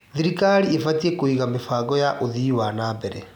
Thirikari ĩbatiĩ kũiga mĩbango ya ũthii wa na mbere.